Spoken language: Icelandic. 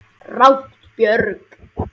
Ragna Björg.